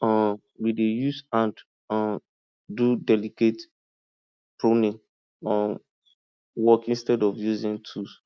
um we dey use hand um do delicate pruning um work instead of using tool